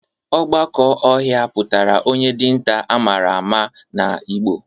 Ogbaka ohia putara onye dinta amara ma na igbo